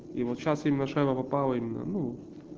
и вот сейчас немножко наполовину